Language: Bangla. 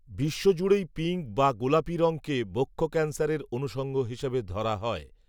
বিশ্বজুড়েই, পিঙ্ক বা গোলাপি রঙকে বক্ষ ক্যানসারের, অনুষঙ্গ হিসাবে ধরা হয়